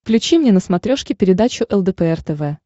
включи мне на смотрешке передачу лдпр тв